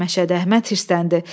Məşədi Əhməd hirsləndi.